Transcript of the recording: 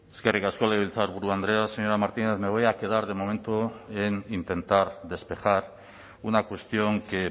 eskerrik asko legebiltzarburu andrea señora martínez me voy a quedar de momento en intentar despejar una cuestión que